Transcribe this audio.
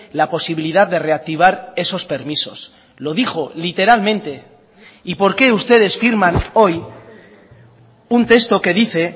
la posibilidad de reactivar esos permisos lo dijo literalmente y por qué ustedes firman hoy un texto que dice